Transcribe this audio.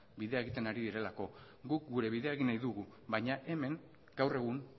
bidea egiten ari direlako guk gure bidea egin nahi dugu baina hemen gaur egun